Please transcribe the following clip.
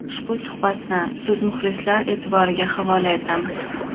Ushbu suhbatni siz muxlislar e’tiboriga havola etamiz.